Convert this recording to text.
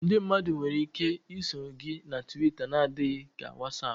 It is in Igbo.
Ndị mmadụ nwere ike iso gị na Twita n'adịghị ka WhatsApp